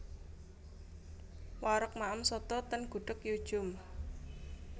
Wareg maem soto ten Gudeg Yu Djum